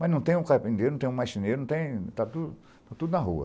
Mas não tem um carpinteiro, não tem um marceneiro, está tudo está tudo na rua.